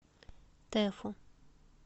тефу